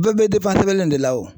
Bee be sɛbɛlen de la o